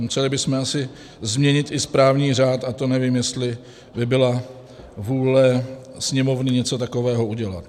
Museli bychom asi změnit i správní řád, a to nevím, jestli by byla vůle Sněmovny něco takového udělat.